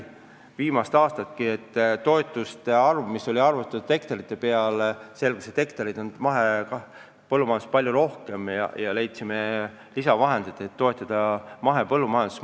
Viimasel aastalgi toetusi makstes selgus, et hektareid on mahepõllumajanduses juba palju rohkem, ja me leidsime lisaraha, et toetada mahepõllumajandust.